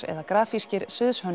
eða grafískir